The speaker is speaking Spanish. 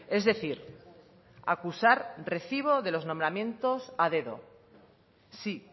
es decir acusar recibo de los nombramientos a dedo sí